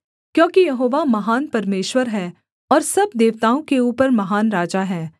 क्योंकि यहोवा महान परमेश्वर है और सब देवताओं के ऊपर महान राजा है